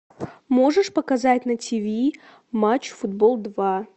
можешь показать на ти ви матч футбол два